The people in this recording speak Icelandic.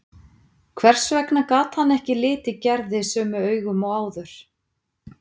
Hvers vegna gat hann ekki litið Gerði sömu augum og áður?